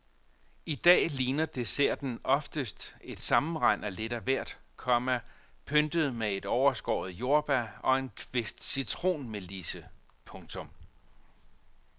I dag ligner desserten oftest et sammenrend af lidt af hvert, komma pyntet med et overskåret jordbær og en kvist citronmelisse. punktum